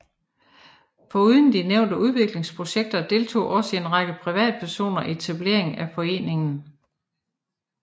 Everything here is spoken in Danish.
Foruden de nævnte udviklingsprojekter deltog også en række privatpersoner i etableringen af foreningen